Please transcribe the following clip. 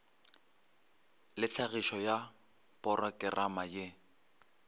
le tlhagišo ya porokerama ye